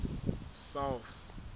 south